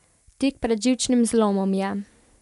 Tik pred živčnim zlomom je.